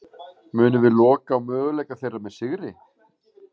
Munum við loka á möguleika þeirra með sigri?